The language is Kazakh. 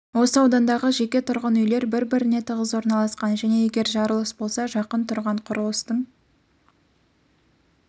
осы аудандағы жеке тұрғын үйлер бір-біріне тығыз орналасқан және егер жарылыс болса жақын тұрған құрылыстың